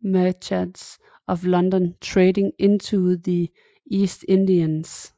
Merchants of London trading into the East Indies